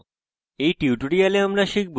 in tutorial আমরা শিখব